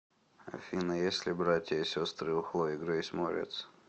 афина есть ли братья и сестры у хлои греис морец